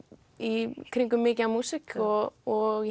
í kringum mikið af músík og og